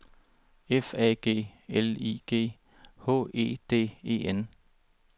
F A G L I G H E D E N